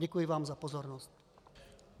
Děkuji vám za pozornost.